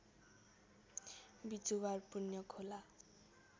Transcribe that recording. Bijuwar Punyakhola